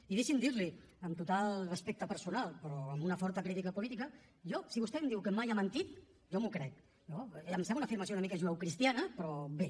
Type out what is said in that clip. i deixem dir li amb total respecte personal però amb una forta crítica política que jo si vostè em diu que mai ha mentit jo m’ho crec no em sembla una afirmació una mica judeocristiana però bé